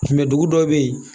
dugu dɔ bɛ yen